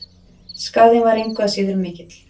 Skaðinn var engu að síður mikill.